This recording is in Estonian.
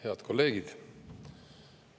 Head kolleegid!